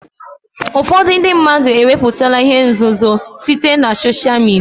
Ụfọdụ ndị mmadụ ewepụtala ihe nzuzo site na sosha midia ọha.